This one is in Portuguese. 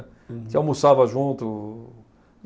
A gente almoçava junto.